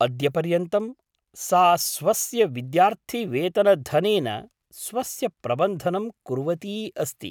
अद्यपर्यन्तं सा स्वस्य विद्यार्थिवेतनधनेन स्वस्य प्रबन्धनं कुर्वती अस्ति।